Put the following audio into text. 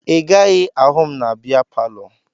Ị gaghị ahụ m na bịa palọ